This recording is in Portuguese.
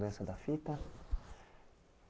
Mudança da fita.